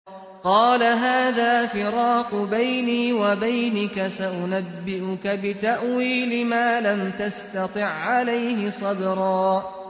قَالَ هَٰذَا فِرَاقُ بَيْنِي وَبَيْنِكَ ۚ سَأُنَبِّئُكَ بِتَأْوِيلِ مَا لَمْ تَسْتَطِع عَّلَيْهِ صَبْرًا